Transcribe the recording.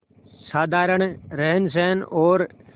साधारण रहनसहन और